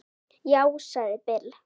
Já, sagði Bill.